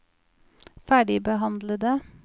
ferdigbehandlede